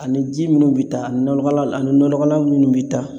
Ani ji minnu bi taa nɔnɔgɔlan ani nɔnɔgɔlan minnu bi taa